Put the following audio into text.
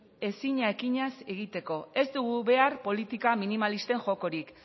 ezina ekinaz egiteko ez dugu behar politika minimalisten jokorik